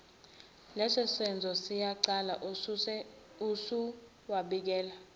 lesosenzo siyicala usuwabikele